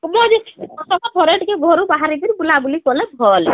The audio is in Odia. ..ସବୁବେଳେ ଯେ ...ଘରୁ ଟିକେ ବାହାରି କିରି ବୁଲା ବୁଲି କଲେ ଭଲ